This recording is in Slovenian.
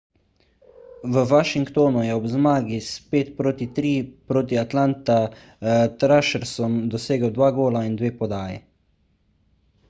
v washingtonu je ob zmagi s 5:3 proti atlanta thrashersom dosegel 2 gola in 2 podaji